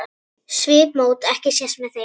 Svipmót ekki sést með þeim.